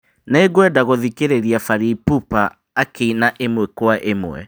Nĩngwenda gũthikĩrĩria Fally Ipupa akĩina ĩmwe kwa ĩmwe